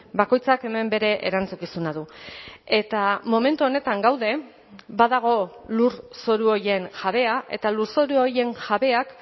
bakoitzak hemen bere erantzukizuna du eta momentu honetan gaude badago lurzoru horien jabea eta lurzoru horien jabeak